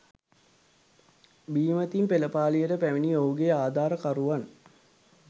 බීමතින් පෙළපාලියට පැමිණි ඔහුගේ ආධාරකරුවන්